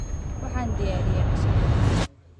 Waxaan diyaariyey casho bariis ah.